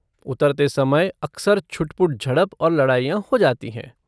उतरते समय अक्सर छुटपुट झड़प और लड़ाइयाँ हो जाती हैं।